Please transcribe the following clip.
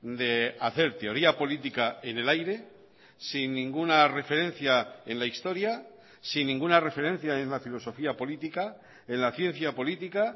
de hacer teoría política en el aire sin ninguna referencia en la historia sin ninguna referencia en la filosofía política en la ciencia política